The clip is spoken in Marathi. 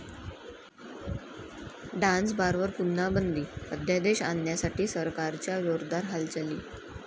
डान्स बारवर पुन्हा बंदी? अध्यादेश आणण्यासाठी सरकारच्या जोरदार हालचाली